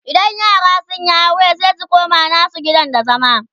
idan yara sunyi aure sai su koma nasu gidan da zama